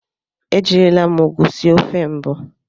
Ejirila m ụgụ sie ofe mbụ.